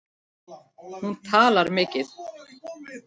Hún talar mikið.